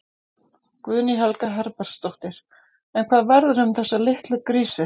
Guðný Helga Herbertsdóttir: En hvað verður um þessa litlu grísi?